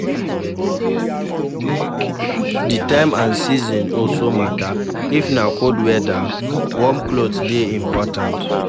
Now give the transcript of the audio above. Di time and season also matter, if na cold weather, warm cloth dey important